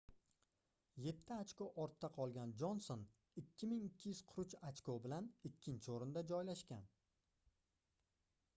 yetti ochko ortda qolgan jonson 2243 ochko bilan ikkinchi oʻrinda joylashgan